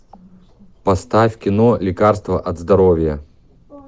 поставь кино лекарство от здоровья